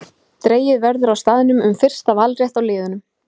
Dregið verður á staðnum um fyrsta valrétt á liðum.